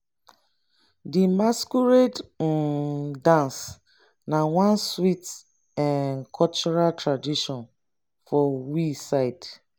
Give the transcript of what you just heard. di masquerade um dance na one sweet um cultural tradition for we side